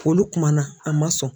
Olu kuma na, a ma sɔn.